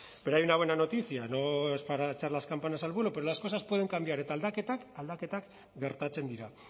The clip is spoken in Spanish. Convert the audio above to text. pero hay una buena noticia no es para echar las campanas al vuelo pero las cosas pueden cambiar eta aldaketak aldaketak gertatzen dira